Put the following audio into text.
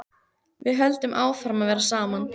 Við höldum áfram að vera saman.